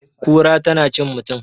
kura tana cin mutum?